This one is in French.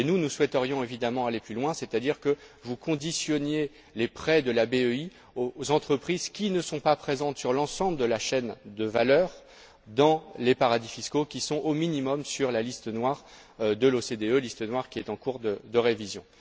Et nous, nous souhaiterions évidemment aller plus loin, c'est à dire que vous conditionniez les prêts de la BEI aux entreprises qui ne sont pas présentes sur l'ensemble de la chaîne de valeurs dans les paradis fiscaux, qui sont au minimum sur la liste noire de l'OCDE, celle ci étant en cours de révision.